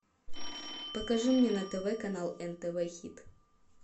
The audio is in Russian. покажи мне на тв канал нтв хит